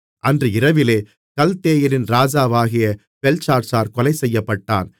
அன்று இரவிலே கல்தேயரின் ராஜாவாகிய பெல்ஷாத்சார் கொலைசெய்யப்பட்டான்